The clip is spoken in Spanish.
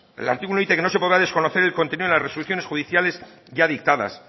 el artículo dice que no se podrá desconocer el contenido de las resoluciones judiciales ya dictadas